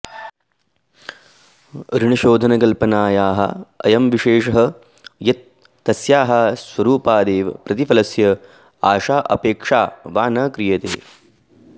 ऋणशोधकल्पनायाः अयं विशेषः यत् तस्याः स्वरुपादेव प्रतिफलस्य आशा अपेक्षा वा न क्रियते